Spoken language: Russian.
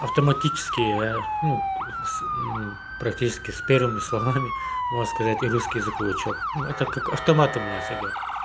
автоматические ну с практически с первыми словами можно сказать и русский язык выучил ну это как автоматом у нас идёт